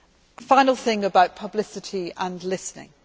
One final thing about publicity and listening.